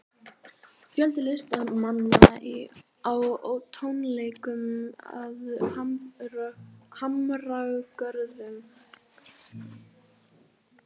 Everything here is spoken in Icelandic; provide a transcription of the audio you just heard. Fjöldi listamanna á tónleikum að Hamragörðum